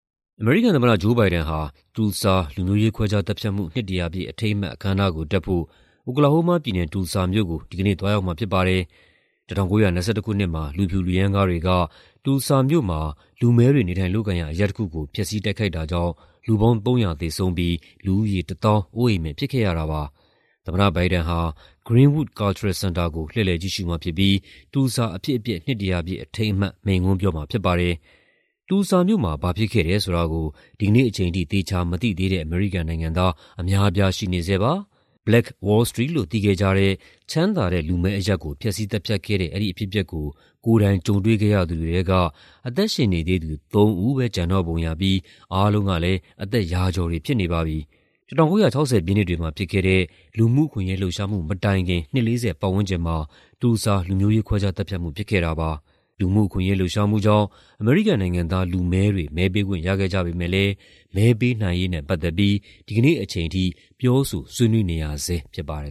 အမေရိကန်သမ္မတ Joe Biden ဟာ Tulsa လူမျိုးရေးခွဲခြားသတ်ဖြတ်မှု နှစ်တရာပြည့် အထိမ်းအမှတ် အခမ်းအနားကိုတက်ဖို့ အိုကလာဟိုးမားပြည်နယ်၊ Tulsa မြို့ကို ဒီကနေ့သွားရောက်မှာဖြစ်ပါတယ်။ ၁၉၂၁ ခုနှစ်မှာ လူဖြူ လူရမ်းကားတွေက Tulsa မြို့မှာ လူမည်းတွေ နေထိုင်လုပ်ကိုင်ရာ အရပ်တခုကို ဖျက်ဆီး တိုက်ခိုက်တာကြောင့် လူပေါင်း ၃၀၀ သေဆုံးပြီး လူဦးရေ ၁၀,၀၀၀ အိုးအိမ်မဲ့ဖြစ်ခဲ့ရတာပါ။ သမ္မတဘိုင်ဒန်ဟာ Greenwood Cultural Center ကို လှည့်လည်ကြည့်ရှုမှာဖြစ်ပြီး Tulsa အဖြစ်အပျက် နှစ် ၁၀၀ ပြည့်အထိမ်းအမှတ် မိန့်ခွန်းပြောမှာဖြစ်ပါတယ်။ Tulsa မြို့မှာ ဘာဖြစ်ခဲ့တယ်ဆိုတာကို ဒီကနေ့အချိန်ထိ သေချာမသိသေးတဲ့ အမေရိကန်နိုင်ငံသား အများအပြား ရှိနေဆဲပါ။ Black Wall Street လို့ သိခဲ့ကြတဲ့ ချမ်းသာတဲ့ လူမည်းအရပ်ကို ဖျက်ဆီးသတ်ဖြတ်ခဲ့တဲ့ အဲဒီအဖြစ်အပျက်ကို ကိုယ်တိုင် ကြုံတွေ့ခဲ့ရသူတွေထဲက အသက်ရှင်နေသေးသူ သုံးဦးပဲ ကျန်တော့ပုံရပြီး အားလုံးက အသက် ရာကျော်တွေဖြစ်နေပါပြီ။ ၁၉၆၀ ပြည့်နှစ်တွေမှာဖြစ်ခဲ့တဲ့ လူမှုအခွင့်အရေးလှုပ်ရှားမှု မတိုင်ခင် နှစ် ၄၀ ပတ်ဝန်းကျင်မှာ Tulsa လူမျိုးရေးခွဲခြားသတ်ဖြတ်မှု ဖြစ်ခဲ့တာပါ။ လူမှုအခွင့်အရေး လှုပ်ရှားမှုကြောင့် အမေရိကန်နိုင်ငံသား လူမည်းတွေ မဲပေးခွင့်ရခဲ့ကြပေမယ့်လည်း မဲပေးနိုင်ရေးနဲ့ ပတ်သက်ပြီး ဒီနေ့အချိန်ထိ ပြောဆို ဆွေးနွေးနေရဆဲဖြစ်ပါတယ်